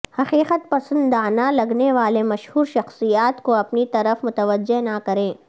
حقیقت پسندانہ لگنے والے مشہور شخصیات کو اپنی طرف متوجہ نہ کریں